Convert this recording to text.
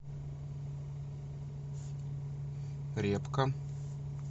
репка